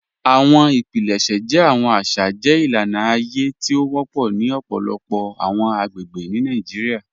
Awọn ipilẹṣẹ jẹ awọn aṣa jẹ ilana aye ti o wọpọ ni ọpọlọpọ awọn agbegbe ni Nàìjíríà.